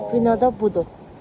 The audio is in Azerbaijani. Binada budur.